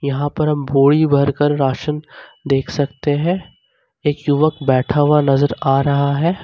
यहां पर हम बोरी भर कर राशन देख सकते हैं एक युवक बैठा हुआ नजर आ रहा है।